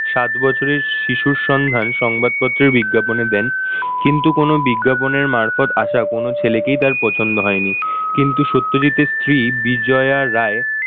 সাত বছরের শিশুর সন্ধান সংবাদপত্রের বিজ্ঞাপনে দেন। কিন্তু কোনো বিজ্ঞাপনের মারফত আশা কোন ছেলেকেই তার পছন্দ হয়নি। কিন্তু সত্যজিতের স্ত্রী বিজয়া রায়,